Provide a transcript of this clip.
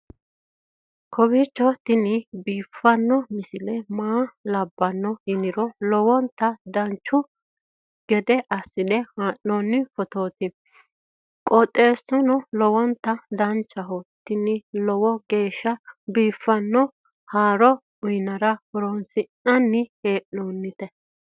kowiicho tini biiffanno misile maa labbanno yiniro lowonta dancha gede assine haa'noonni foototi qoxeessuno lowonta danachaho. tini lowo geeshsha biiffanno haaro uyannara horoonsi'nanni hee'noonite